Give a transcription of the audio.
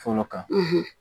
Fɔlɔ kan